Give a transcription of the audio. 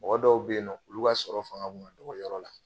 Mɔgɔ dɔw bɛ yen nɔ olu b'a sɔrɔ fanga tun ka dɔgɔ yɔrɔ la